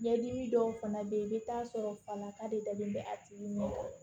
Ɲɛdimi dɔw fana bɛ yen i bɛ taa sɔrɔ falaka de dalen bɛ a tigi ɲɛ kɔrɔ